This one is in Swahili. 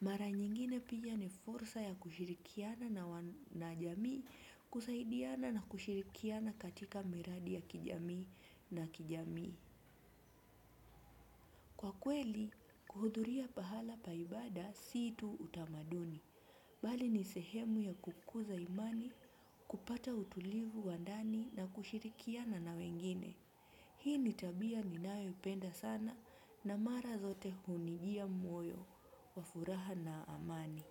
Mara nyingine pia ni fursa ya kushirikiana na jamii kusaidiana na kushirikiana katika miradi ya kijamii na kijamii. Kwa kweli, kuhudhuria pahala pa ibada si tu utamaduni, bali ni sehemu ya kukuza imani kupata utulivu wa ndani na kushirikiana na wengine. Hii ni tabia ninayo penda sana na mara zote hunijia moyo, wa furaha na amani.